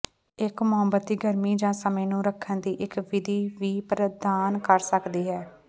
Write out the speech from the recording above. ਇੱਕ ਮੋਮਬੱਤੀ ਗਰਮੀ ਜਾਂ ਸਮੇਂ ਨੂੰ ਰੱਖਣ ਦੀ ਇੱਕ ਵਿਧੀ ਵੀ ਪ੍ਰਦਾਨ ਕਰ ਸਕਦੀ ਹੈ